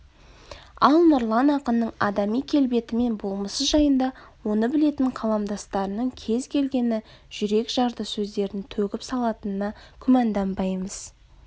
ал нұрлан ақынның адами келбеті мен болмысы жайында оны білетін қаламдастарының кез-келгені жүрекжарды сөздерін төгіп салатынына күмәнданбаймыз